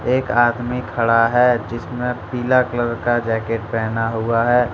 एक आदमी खड़ा है जिस ने पीला कलर का जैकेट पहना हुआ है।